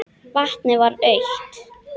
Vatnið var autt.